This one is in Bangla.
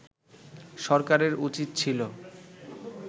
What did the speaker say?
সরকারের উচিত ছিল